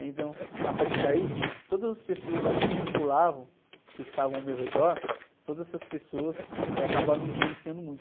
Então, a partir daí, todas as pessoas que me circulavam, que estavam ao meu redor, todas essas pessoas, eh, acabaram me influenciando muito.